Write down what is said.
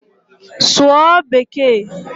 Sụọ bekee!